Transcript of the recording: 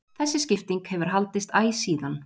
þessi skipting hefur haldist æ síðan